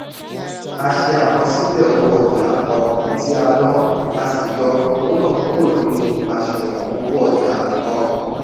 a ṣe àkọsílẹ̀ owó ọjà um tí a ná a sì yọ owó náà kúrò nínu àṣùwọ̀n owó ọjà um